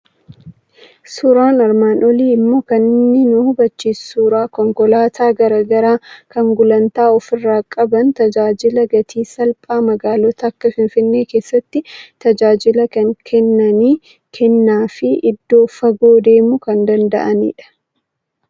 Suuraan armaan olii immoo kan inni nu hubachiisu suuraa konkolaataa garaa garaa, kan gulantaa ofirraa qaban, tajaajila gatii salphaa magaalota akka Finfinnee keessatti tajaajila kan kennaniiKenna fi iddoo fagoo deemuu kan danda'anidha.